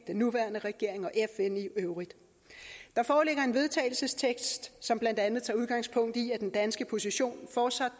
den nuværende regering og med fn i øvrigt der foreligger en vedtagelsestekst som blandt andet tager udgangspunkt i at den danske position fortsat